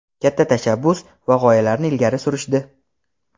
katta tashabbus va g‘oyalarni ilgari surishdi.